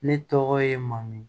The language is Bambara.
Ne tɔgɔ ye mamu